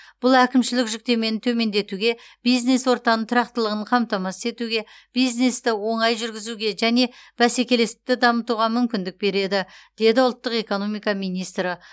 бұл әкімшілік жүктемені төмендетуге бизнес ортаның тұрақтылығын қамтамасыз етуге бизнесті оңай жүргізуге және бәсекелестікті дамытуға мүмкіндік береді деді ұлттық экономика министрі